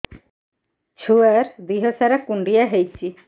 ଛୁଆର୍ ଦିହ ସାରା କୁଣ୍ଡିଆ ହେଇଚି